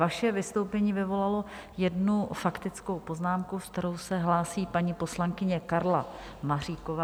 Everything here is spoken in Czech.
Vaše vystoupení vyvolalo jednu faktickou poznámku, s kterou se hlásí paní poslankyně Karla Maříková.